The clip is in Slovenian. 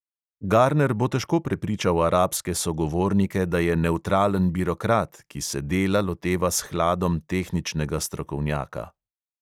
Garner bo težko prepričal arabske sogovornike, da je nevtralen birokrat, ki se dela loteva s hladom tehničnega strokovnjaka.